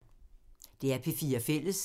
DR P4 Fælles